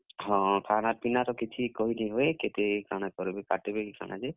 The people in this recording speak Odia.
ହଁ, ଖାନା ପିନା ର ତ କିଛି କହି ନି ହୁଏ। କେତେ କାଣା କର୍ ବେ କାଟ୍ ବେ କି କାଣା ଯେ।